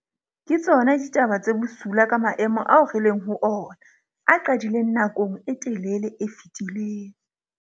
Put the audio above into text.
Ke tsona ditaba tse bosula ka maemo ao re leng ho ona, a qadileng nakong e telele e fetileng.